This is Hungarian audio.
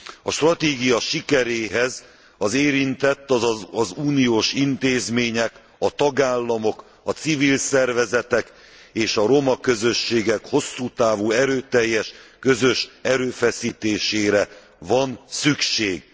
A stratégia sikeréhez az érintett, azaz az Uniós intézmények, a tagállamok, a civil szervezetek és a roma közösségek hosszú távú, erőteljes, közös erőfeszítésére van szükség.